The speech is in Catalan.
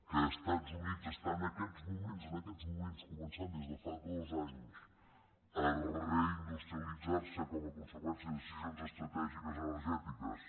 que els estats units en aquests moments en aquests moments co·mencen des de fa dos anys a reindustrialitzar·se com a conseqüència de decisions estratègiques energètiques